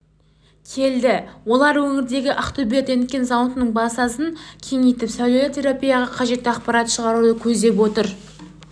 келді олар өңірдегі ақтөбе рентген зауытының базасын кеңейтіп сәулелі терапияға қажетті аппарат шығаруды көздеп отыр